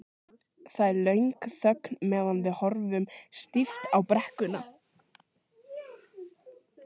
Það er löng þögn meðan við horfum stíft á brekkuna.